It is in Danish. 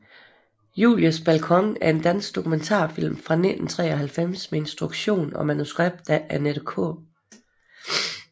Julies balkon er en dansk dokumentarfilm fra 1993 med instruktion og manuskript af Annette K